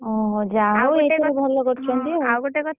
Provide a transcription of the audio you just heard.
ଓହୋ! ଯାହା ହଉ ଏ ସବୁ ଭଲ କରଛନ୍ତି ଆଉ